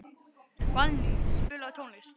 Valný, spilaðu tónlist.